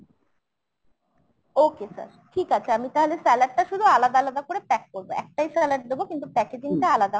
okay sir ঠিক আছে আমি তাহলে salad টা শুধু আলাদা আলাদা করে pack করবো। একটাই salad দেবো কিন্তু packaging টা আলাদা হবে